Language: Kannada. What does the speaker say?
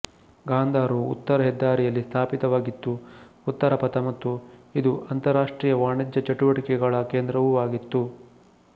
ಗಾಂಧಾರವು ಉತ್ತರ ಹೆದ್ದಾರಿಯಲ್ಲಿ ಸ್ಥಾಪಿತವಾಗಿತ್ತು ಉತ್ತರಪಥ ಮತ್ತು ಇದು ಅಂತರಾಷ್ಟ್ರೀಯ ವಾಣಿಜ್ಯ ಚಟುವಟಿಕೆಗಳ ಕೇಂದ್ರವೂ ಆಗಿತ್ತು